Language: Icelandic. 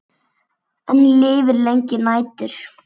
Enn lifir lengi nætur.